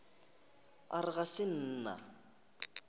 a re ga se nna